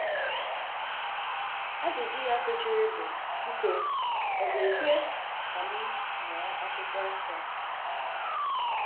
Ajụjụ ya sochiri bụ: “Biko, ọ̀ ga-ekwe ka m mụọ Akwụkwọ Nsọ?”